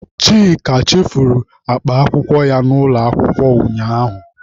Chika chefuru akpa akwụkwọ ya n'ụlọ akwụkwọ ụnyaahụ.